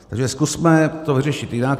Takže zkusme to vyřešit jinak.